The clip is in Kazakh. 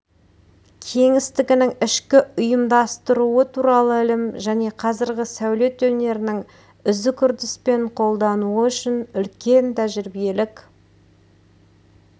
кеңістігінің ішкі ұйымдастыруы туралы ілім және қазіргі сәулет өнерінің үзік үрдіспен қолдануы үшін үлкен тәжірибелік